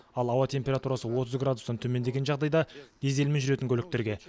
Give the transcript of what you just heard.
ал ауа температурасы отыз градустан төмендеген жағдайда дизельмен жүретін көліктерге